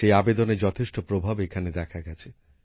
সেই আবেদনের যথেষ্ট প্রভাব এখানে দেখা গেছে